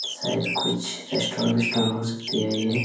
शायद कुछ रेस्टोरेंट वेस्टॉरंट हो सकती हैये।